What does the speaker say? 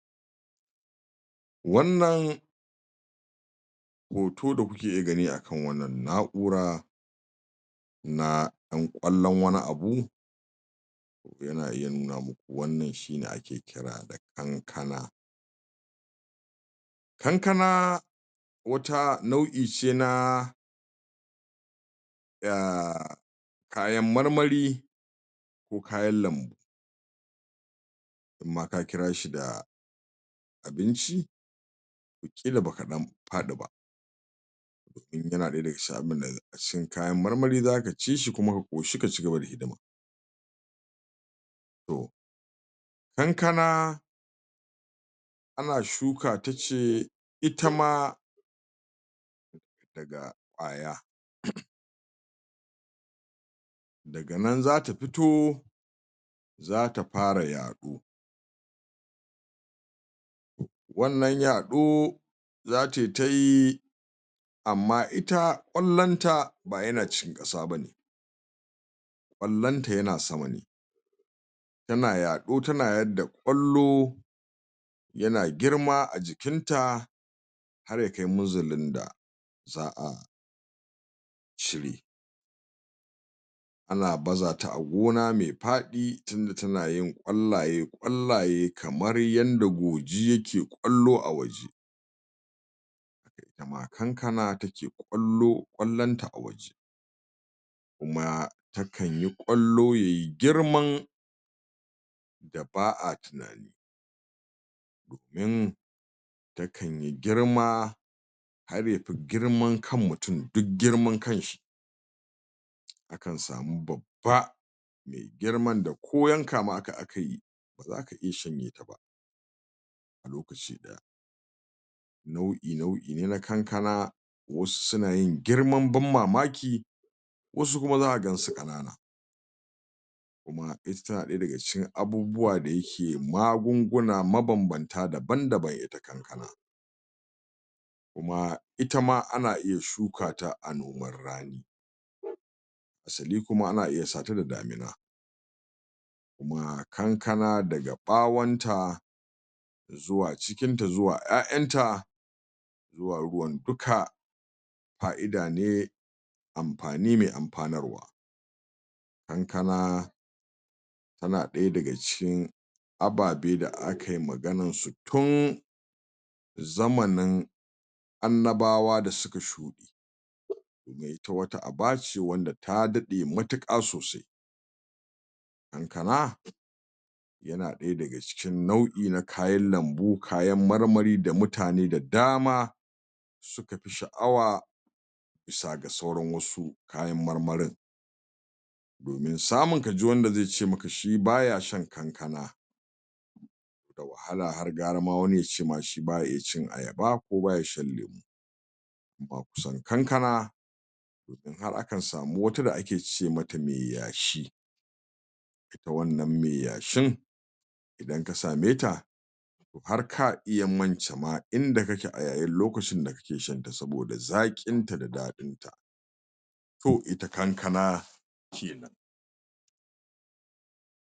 Wannan hoto da kuke gani akan wannan na'ura na ɗan kwallon wani abu yanayin namu wannan shi ne ake kira da Kankana Kankana wata nau'i ce na um kayan marmari ko kayan lambu im ma ka kira shi da abinci ƙila na ɗan faɗi ba domin yana ɗaya daga cikin abinda kayan marmari zaka ci shi kuma ka ƙoshi ka ci gaba hidima to Kankana ana shukata ce ita ma daga kwaya um daga nan zata fito zata fara yaɗo wannan yaɗo zatai ta yi amma ita kwallonta ba bayan cin ƙasa ba ne kwallonta yana sama ne tana yaɗo tana yadda kwallo yana girma a jikinta har ya kai minzalin da za a cire ana baza ta a gona me faɗi tunda tana yin kwallaye kwallaye kamar yanda gurji yake kwallo a waje haka ita ma Kankana kwallo kwallonta a waje kuma takan yi kwallo yai girman da ba a tunani domin takan yi girma har fi girman kan mutum dug girman kanshi akan samu babba me girma da ko yanka maka aka yi ba zaka iya shanye ta ba a lokaci ɗaya nau'i-nau'i ne na Kankana wasu suna yin girman ban mamaki wasu kuma zaka gansu ƙanana kuma ita tana ɗaya daga cikin abubuwa da yake magunguna mabambanta daban-daban ita Kankana kuma ita ma ana iya shuka ta a nomar rani hasali kuma ana iya sata da damina kuma kankana daga ɓawonta zuwa cikinta zuwa 'ya'yanta zuwa ruwan duka fa'ida ne amafani ne amfanarwa Kankana tana ɗaya daga cikin ababe da akai maganarsu tun zamanin annabawa da suka shuɗe ita wata aba ce wanda ya daɗe mutuƙa sosai Kankana yana ɗaya daga cikin nau na kayan lambu kayan marmari da mutane da dama suka fi sha'awa bisa ga sauran wasu kayan marmarin domin samun kaji wanda ze ce maka shi baya shan Kankana da wahala har gara ma wani ya ce ma shi baya iya cin Ayaba ko baya shan lemo amma kusan Kankana domin har akan samu wata da ake ce mata me yashi ita wannan me yashin idan ka same ta har ka iya mance ma inda kake a yayin lokacin da kake shanta saboda zaƙinta da daɗinta to ita kankana kenan.